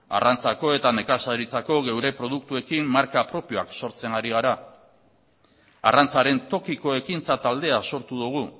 arrantzako eta nekazaritzako geure produktuekin marka propioak sortzen ari gara arrantzaren tokiko ekintza taldea sortu dugu